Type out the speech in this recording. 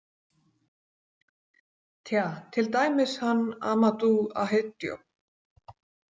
Tja, til dæmis hann Ahmadou Ahidjo.